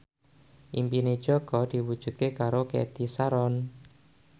impine Jaka diwujudke karo Cathy Sharon